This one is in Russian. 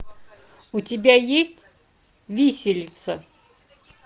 у тебя есть виселица